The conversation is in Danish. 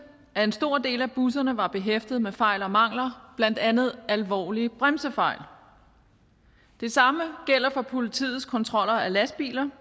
at en stor del af busserne var behæftet med fejl og mangler blandt andet alvorlige bremsefejl det samme gælder for politiets kontroller af lastbiler